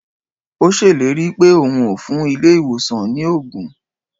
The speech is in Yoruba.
O ṣèlérí pé o hun ó fún ilé ìwòsàn ni ògùn